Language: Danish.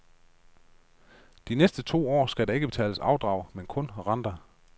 De næste to år skal der ikke betales afdrag, men kun renter.